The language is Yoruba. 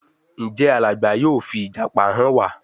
Njé Alàgbà yóò fi ìjàpá hàn wá?